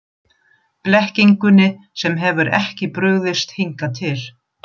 Blekkingunni sem hefur ekki brugðist hingað til.